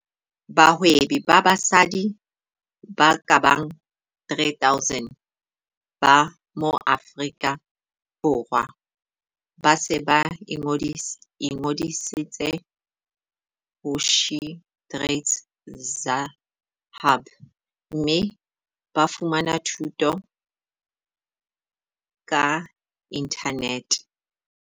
Bahwebi ba basadi ba ka bang 3 000 ba Maaforika Borwa ba se ba ingodisitse ho SheTradesZA Hub mme ba fumana dithuto ka inthanete.